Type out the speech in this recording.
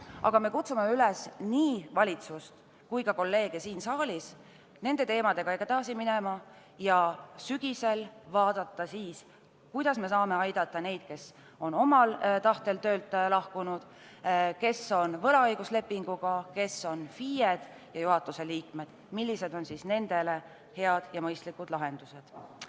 ... aga me kutsume üles nii valitsust kui ka kolleege siin saalis nende teemadega edasi minema, et siis sügisel vaadata, kuidas me saame aidata neid, kes on omal tahtel töölt lahkunud, kes on võlaõiguslepingu alusel tegutsenud, kes on FIE-d või juhatuse liikmed ning millised on nendele head ja mõistlikud lahendused.